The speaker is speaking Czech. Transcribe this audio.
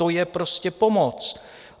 To je prostě pomoc!